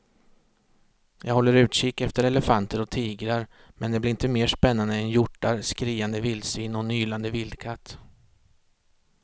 Jag håller utkik efter elefanter och tigrar men det blir inte mer spännande än hjortar, skriande vildsvin och en ylande vildkatt.